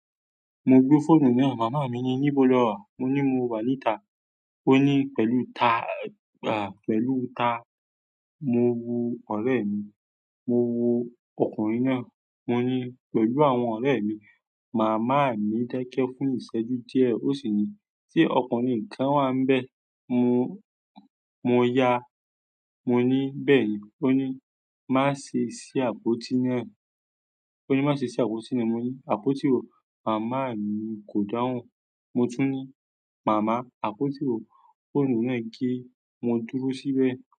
Mo gbé fóònù náà màmá mi ní níbo lo wà, mo ní mo wà ní ta. Ó ní: "pẹ̀lú ta?" À, pẹ̀lú ta? Mo wu ọ̀rẹ̀ mi, mo wu ọkùnrin náà. Mo ní: "pẹ̀lú àwọn ọ̀rẹ́ mi." Màmá mi dẹ́kẹ́ fún ìṣẹ́jú díẹ̀ ó sì ní: "tí ọkùnrin kan wà níbẹ̀, mo ya." Mo ní: "bẹ́ẹ̀ni." Ó ní: "má ṣe ṣí àpótí náà." Ó ní: "má ṣe ṣí àpótí náà." Mo ní: "àpótí wo?" Màmá mi kò dáhùn. Mo tún ní: "màmá, àpótí wo?" Fóònù náà gé, mo dúró síbẹ̀.